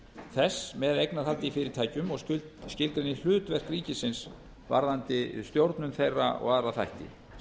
þess með eignarhaldi í fyrirtækjum og skilgreini hlutverk ríkisins varðandi stjórnun þeirra og aðra þætti